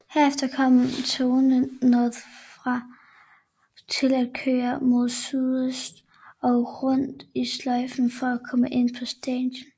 Herefter kom togene nordfra til at køre mod sydøst og rundt i sløjfen for at komme ind på stationen